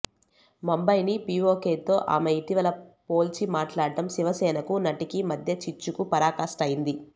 ముంబైని పిఒకెతో ఆమె ఇటీవల పొల్చి మాట్లాడటం శివసేనకు నటికి మధ్య చిచ్చుకు పరాకాష్ట అయింది